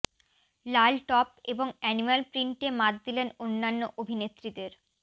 লাল top এবং animal প্রিন্টে মাত দিলেন অন্যান্য অভিনেত্রীদের